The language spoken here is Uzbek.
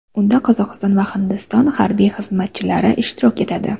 Unda Qozog‘iston va Hindiston harbiy xizmatchilari ishtirok etadi.